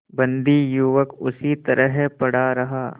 बंदी युवक उसी तरह पड़ा रहा